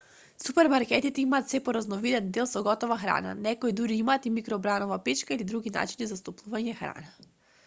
супермаркетите имаат сѐ поразновиден дел со готова храна. некои дури имаат и микробранова печка или други начини за стоплување храна